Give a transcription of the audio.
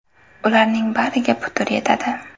Ularning bariga putur yetadi.